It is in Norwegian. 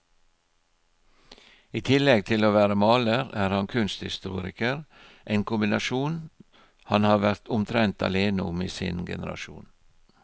I tillegg til å være maler er han kunsthistoriker, en kombinasjon han har vært omtrent alene om i sin generasjon.